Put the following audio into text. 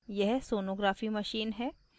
यह sonography machine है